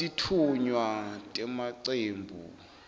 titfunywa temacembu